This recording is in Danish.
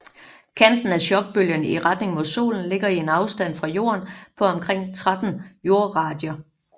Kanten af chokbølgen i retning mod Solen ligger i en afstand fra Jorden på omkring 13 jordradier